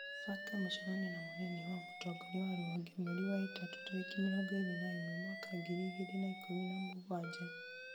banga mũcemanio na mũnini wa mũtongoria wa rũhonge mweri wa ĩtatũ tarĩki mĩrongo ĩrĩ na ĩmwe mwaka ngiri igĩrĩ na ikũmi na mũgwanja